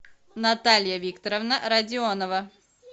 наталья викторовна родионова